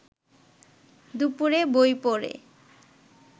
দুপুরে বই পড়ে